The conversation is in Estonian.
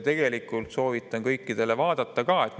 Tegelikult soovitan kõikidel vaadata ka protokolli.